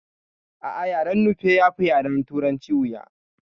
A'a yaren nufe yafi yaren turanci wuya